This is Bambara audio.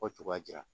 Fɔ cogoya di la